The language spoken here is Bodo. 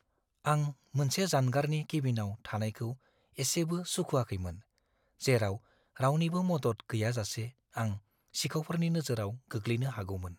आं मोनसे जानगारनि केबिनआव थानायखौ एसेबो सुखुआखैमोन, जेराव रावनिबो मदद गैयाजासे आं सिखावफोरनि नोजोराव गोग्लैनो हागौमोन।